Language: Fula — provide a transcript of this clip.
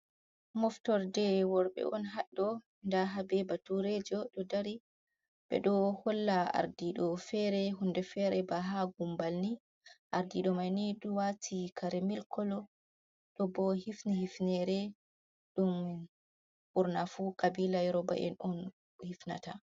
Moftorde worɓe on haɗɗo, nda har be baturejo ɗo dari ɓedo holla ardiɗo fere hunde fere ba haa gumbal ni. Ardiɗo mai ni ɗo waati kare milk kolo, ɗo bo hifni hifnere ɗum ɓurna fu ƙabila yoruba’en on hifnata.